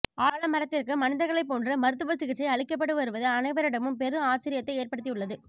ஆலமரத்திற்கு மனிதர்களை போன்று மருத்துவ சிகிச்சை அளிக்கப்படு வருவது அனைவரிடமும் பெரும் ஆச்சரியத்தை ஏற்படுத்தியுள்ளது